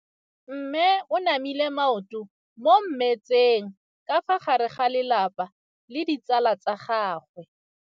Mme o namile maoto mo mmetseng ka fa gare ga lelapa le ditsala tsa gagwe.